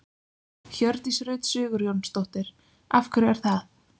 Hjördís Rut Sigurjónsdóttir: Af hverju er það?